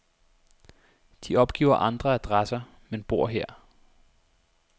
De opgiver andre adresser, men bor her.